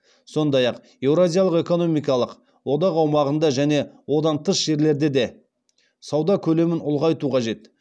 сондай ақ еуразиялық экономикалық одақ аумағында және одан тыс жерлерде де сауда көлемін ұлғайту қажет